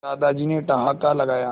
दादाजी ने ठहाका लगाया